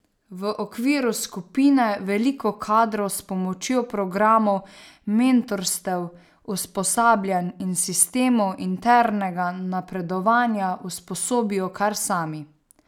V okviru skupine veliko kadrov s pomočjo programov mentorstev, usposabljanj in sistemov internega napredovanja usposobijo kar sami.